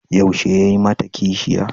Yaushe ya yi mata kishiya?